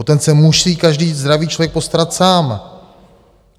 O ten se musí každý zdravý člověk postarat sám."